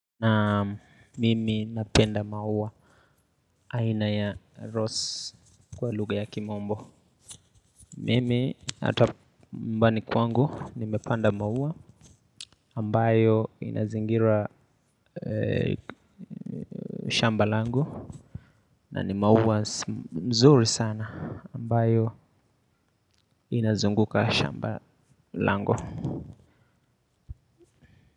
Na mimi napenda mauwa. Aina ya rose kwa lugha ya kimombo. Mimi hata nyumbani kwangu nimepanda mauwa ambayo inazingira shamba langu. Na ni mauwa nzuri sana ambayo inazunguka shamba langu.